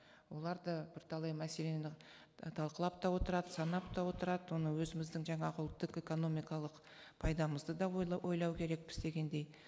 олар да бірталай мәселені талқылап та отырады санап та отырады оны өзіміздің жаңағы ұлттық экономикалық пайдамызды да ойлау керекпіз дегендей